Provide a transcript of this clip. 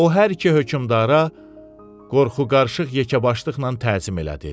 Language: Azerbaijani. O hər iki hökmdara qorxuqarışıq yekəbaşlıqla təzim elədi.